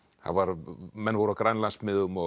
menn voru á Grænlandsmiðum